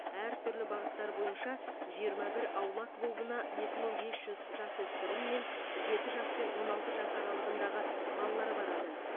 әртүрлі бағыттар бойынша жиырма бір аула клубына екі мың бес жүз жасөспірім мен жеті жас пен он алты жас аралығындағы балалар барады